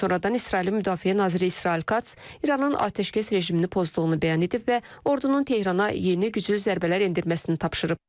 Lakin sonradan İsrailin müdafiə naziri İsrail Kac İranın atəşkəs rejimini pozduğunu bəyan edib və ordunun Tehrana yeni güclü zərbələr endirməsini tapşırıb.